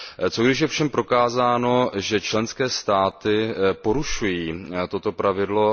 Co když je ovšem prokázáno, že členské státy porušují toto pravidlo.